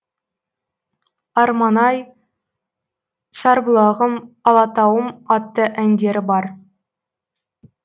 арман ай сарбұлағым алатауым атты әндері бар